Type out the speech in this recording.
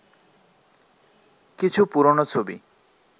কিছু পুরনো ছবি